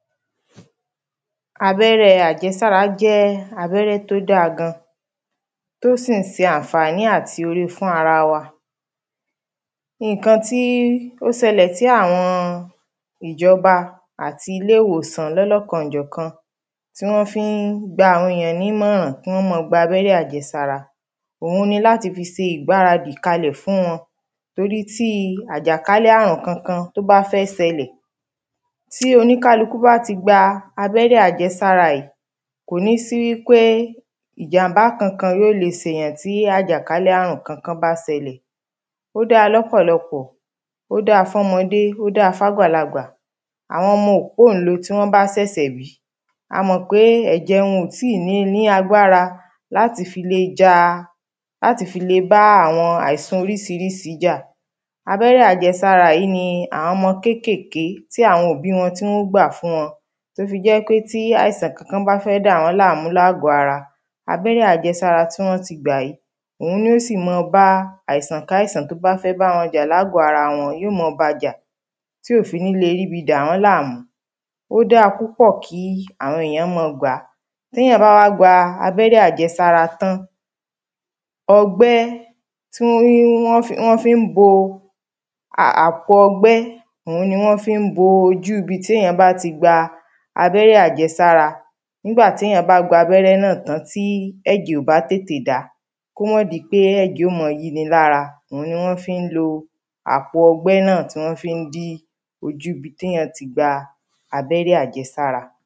Abẹ́rẹ́ àjẹsára jẹ́ abẹ́rẹ́ tí ó dáa gan tí ó sì ń ṣe àǹfàní àti ore fún ara wa Nǹkan tí ó ṣẹlẹ̀ tí àwọn ìjọba àti ilé ìwòsàn ní ọlọ́kanòjọ̀kàn tí wọ́n fi ń gba àwọn èyàn ní ìmọ̀ràn kí wọ́n máa gba abẹ́rẹ́ àjẹsára òun ni láti fi ṣe ìgbaradì kalẹ̀ fún wọn Tórí tí àjàkálẹ̀ ààrùn kankan tí ó bá fẹ́ ṣẹlẹ̀ tí oníkálukú bá ti gba abẹ́rẹ́ àjẹsára yìí kò ní sí wípé ìjàm̀bá Kankan yóò lè ṣe èyàn tí àjàkálẹ̀ ààrùn Kankan bá ṣẹlẹ̀ Ó dáa lọ́pọ̀lọpọ̀ Ó dáa fun ọmọdé ó dáa fún àgbàlagbà Àwọn ọmọ òpóǹle tí wọ́n bá ṣẹ̀ṣẹ̀ bí a mọ̀ pé ẹ̀jẹ̀ wọn ò ti ni ní agbára láti fi le ja láti fi le bá àwọn àìsàn oríṣiríṣi jà Abẹ́rẹ́ àjẹsára yìí ni àwọn ọmọ kékèèké ti àwọn òbí wọn tí wọ́n óò gbà fún wọn tí ó fi jẹ́ ń pé tí àìsàn Kankan bá fẹ́ dà wọ́n láàmú ní ààgọ́ ara abẹ́rẹ́ àjẹsára tí wọ́n ti gbà yìí òun ni ó sì máa bá àìsànkáìsàn tí ó bá fẹ́ bá wọn jà ní ààgọ́ ara wọn yóò máa ba jà tí ò fi ní lè rí ibi dà wọ́n láàmú Ó dáa púpọ̀ kí àwọn èyàn máa gbà á Tí èyàn bá wá gba abẹ́rẹ́ àjẹsára tán ọgbẹ́ tí wọ́n fi ń bọ àpò ọgbẹ́ òun ni wọ́n fi ń bo ojú ibi tí èyàn bá ti gba abẹ́rẹ́ àjẹsára Nígbà tí èyàn bá gba abẹ́rẹ́ náà tan tí ẹ̀jẹ̀ ò bá tètè dá kí ó má di pé ẹ̀jẹ̀ ó ma yí ni ní ara òun ni wọ́n fi ń lo àpò ọgbẹ́ náà tí wọ́n fi ń dí ojú ibi tí èyàn ti gba abẹ́rẹ́ àjẹsára